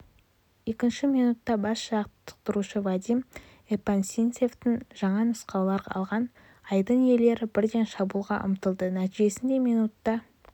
екінші минутта бас жаттықтырушы вадим епанчинцевтен жаңа нұсқаулар алған айдын иелері бірден шабуылға ұмтылды нәтижесінде минутта